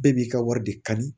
Bɛɛ b'i ka wari de kanu